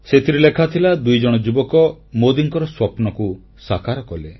ସେଥିରେ ଲେଖାଥିଲା ଦୁଇଜଣ ଯୁବକ ମୋଦୀଙ୍କର ସ୍ୱପ୍ନକୁ ସାକାର କଲେ